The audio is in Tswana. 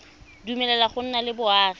dumeleleng go nna le boagi